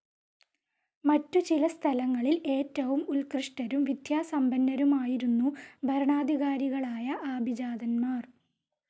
മറ്റു ചില സ്ഥലങ്ങളിൽ ഏറ്റവും ഉത്‌കൃഷ്ടരും വിദ്യാസമ്പന്നരുമായിരുന്നു ഭരണാധികാരികളായ ആഭിജാതന്മാർ.